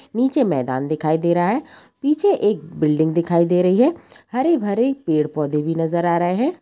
नीचे मैदान दिखाई दे रहा है पीछे एक बिल्डिंग दिखाई दे रही है हरे-भरे पेड़-पौधे भी नजर आ रहे है।